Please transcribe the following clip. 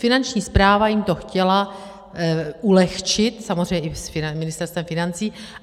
Finanční správa jim to chtěla ulehčit, samozřejmě i s Ministerstvem financí.